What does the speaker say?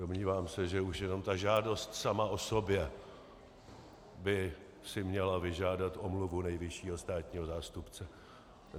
Domnívám se, že už jenom ta žádost sama o sobě by si měla vyžádat omluvu nejvyššího státního zástupce.